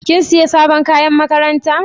Kin sayi sabon kayan makaranta?